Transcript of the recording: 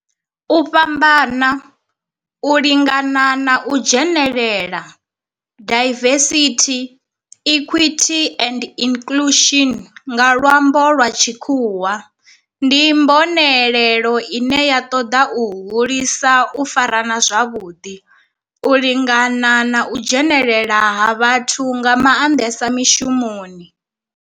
U fhambana, u lingana na u dzhenelela, diversity, equity and inclusion nga lwambo lwa tshikhuwa, ndi mbonelelo ine ya toda u hulisa u farana zwavhudi, u lingana na u dzhenelela ha vhathu nga mandesa mishumoni.